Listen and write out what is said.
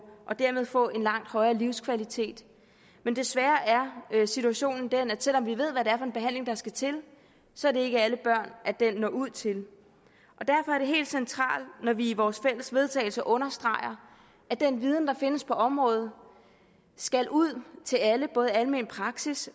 dermed få en langt højere livskvalitet men desværre er situationen den at selv om vi ved hvad det er for en behandling der skal til så er det ikke alle børn den når ud til derfor er det helt centralt når vi i vores fælles vedtagelse understreger at den viden der findes på området skal ud til alle både i almen praksis